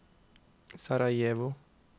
Sarajevo